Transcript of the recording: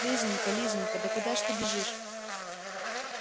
лизонька лизонька да куда ж ты бежишь